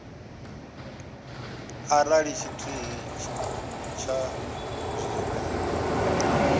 arali tshithihi tsha zwi re